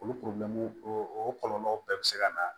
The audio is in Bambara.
Olu o kɔlɔlɔw bɛɛ bɛ se ka na